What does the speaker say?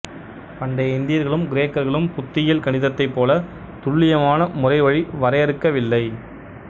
பண்டைய இந்தியர்களும் கிரேக்கர்களும் புத்தியல் கணிதத்தைப் போல துல்லியமான முறைவழி வறையறுக்கவில்லை